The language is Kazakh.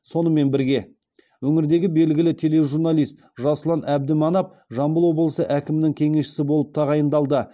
сонымен бірге өңірдегі белгілі тележурналист жасұлан әбдіманап жамбыл облысы әкімінің кеңесшісі болып тағайындалды